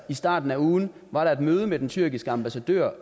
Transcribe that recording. starten af ugen var der et møde med den tyrkiske ambassadør